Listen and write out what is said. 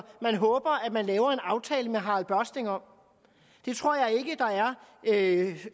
man håber at man laver en aftale med harald børsting om det tror jeg ikke